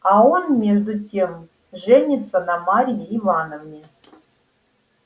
а он между тем женится на марье ивановне